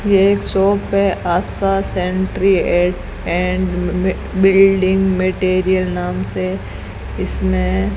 ये एक शॉप है Asha sanitary and building material नाम से इसमें --